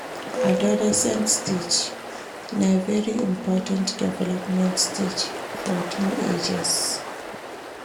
Adolescent stage na very important development stage for teenagers